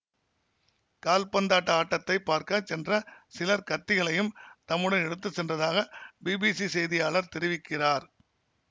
கால்பந்தாட்ட ஆட்டத்தை பார்க்க சென்ற சிலர் கத்திகளையும் தம்முடன் எடுத்து சென்றதாக பிபிசி செய்தியாளர் தெரிவிக்கிறார்